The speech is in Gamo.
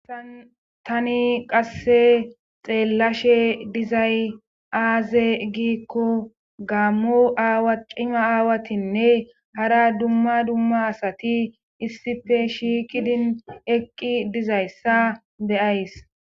assan tani qasse xeellashe dizay aaze giikko gaammo aawa cima aawatinne hara dumma dumma asati issife shiiqidin eqqi dizayssa deyays